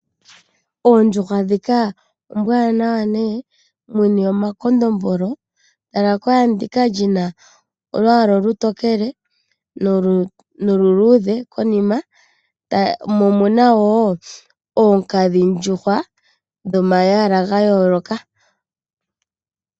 Oondjukwa ndhika ombwaanawa muna omakondombolo, tala kwaa ndika lying na olwaala olutokele noluluudhe konima. Omuna wo oonkadhi ndjuhwa dhoma lwaala ga yooloka.